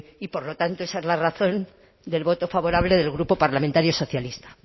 y por lo tanto esa es la razón del voto favorable del grupo parlamentario socialista